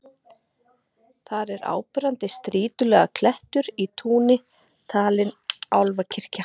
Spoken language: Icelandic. Þar er áberandi strýtulaga klettur í túni, talinn álfakirkja.